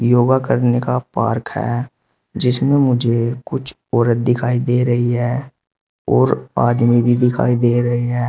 योगा करने का पार्क है जिसमें मुझे कुछ औरत दिखाई दे रही हैं और आदमी भी दिखाई दे रहे हैं।